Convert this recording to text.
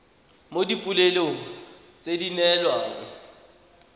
mo dipoelong tse di neelwang